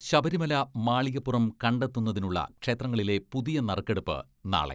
ശബരിമല, മാളികപ്പുറം കണ്ടെത്തുന്നതിനുള്ള ക്ഷേത്രങ്ങളിലെ പുതിയ നറുക്കെടുപ്പ് നാളെ